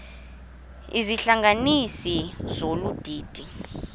izihlanganisi zolu didi